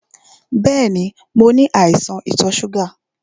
Bẹ́ẹ̀ni, mo ní àìsàn ìtò ṣúgà.